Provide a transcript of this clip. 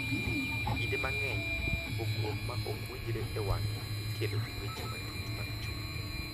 Kinde mang’eny, pogruok ma ok winjre e wang’e ikelo gi weche matut mag chuny,